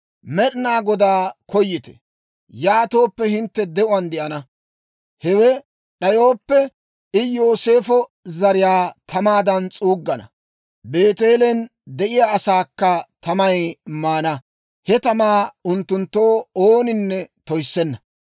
Med'inaa Godaa koyite; yaatooppe, hintte de'uwaan de'ana. Hewe d'ayooppe, I Yooseefo zariyaa tamaadan s'uuggana; Beeteelen de'iyaa asaakka tamay maana. He tamaa unttunttoo ooninne toyissenna.